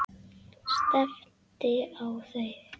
Stefndi á þau.